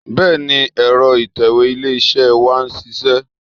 Bẹ́ẹ̀ni, ẹ̀rọ ìtẹ̀wé ilé-iṣẹ́ wa ń ṣiṣẹ́